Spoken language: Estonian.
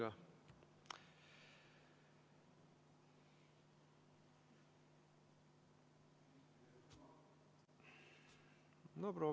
Härra minister, häält ei ole.